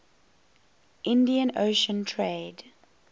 indian ocean trade